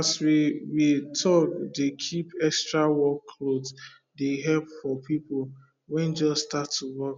as we we tak dey keep extra work cloth dey help for people wen just start to work